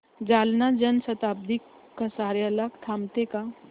जालना जन शताब्दी कसार्याला थांबते का